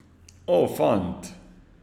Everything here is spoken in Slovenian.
O, fant!